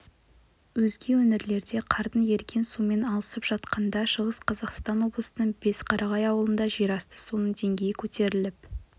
өзге өңірлерде қардың еріген суымен алысып жатқанда шығыс қазақстан облысының бесқарағай ауылында жерасты суының деңгейі көтеріліп